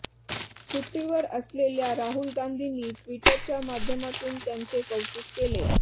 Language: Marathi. सुट्टीवर असलेल्या राहुल गांधींनी ट्विटरच्या माध्यमातून त्यांचे कौतूक केले